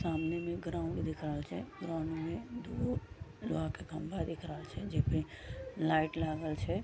सामने मे ग्राउंड दिख रहल छै ग्राउंड में दुगो लोहा के खम्भा दिख रहल छै जेमे लाइट लागल छै।